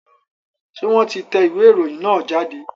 Ṣé wọ́n ti tẹ ìwé ìròyìn náà jáde?